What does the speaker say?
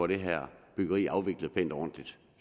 det her byggeri afvikles pænt og ordentligt